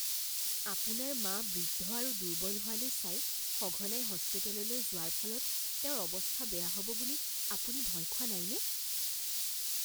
আপোনাৰ মা বৃদ্ধ আৰু দুৰ্বল হোৱালৈ চাই সঘনাই হস্পিটেললৈ যোৱাৰ ফলত তেওঁৰ অৱস্থা বেছি বেয়া হ'ব বুলি আপুনি ভয় খোৱা নাইনে?